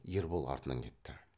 ербол артынан кетті